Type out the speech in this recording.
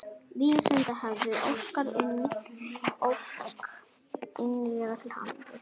Vísindavefurinn óskar Unni Ósk innilega til hamingju.